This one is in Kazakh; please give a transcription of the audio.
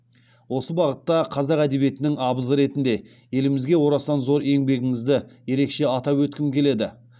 осы бағытта қазақ әдебиетінің абызы ретінде елімізге орасан зор еңбегіңізді ерекеше атап өткім келеді